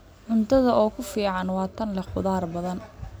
Cuntada ugu fiican waa tan leh khudaar badan.